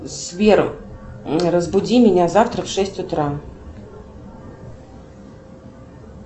сбер разбуди меня завтра в шесть утра